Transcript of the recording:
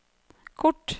kort